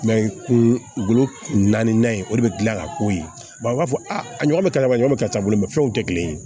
naani ye o de gilan a ka k'o ye u b'a fɔ a ɲɔgɔn bɛ kalama yɔrɔ ka ca bolo fɛnw tɛ kelen ye